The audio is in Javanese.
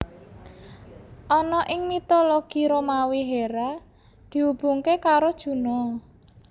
Ana ing mitologi Romawi Hera dihubungke karo Juno